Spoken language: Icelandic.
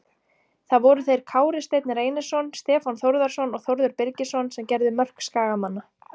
Það voru þeir Kári Steinn Reynisson, Stefán Þórðarson og Þórður Birgisson sem gerðu mörk Skagamanna.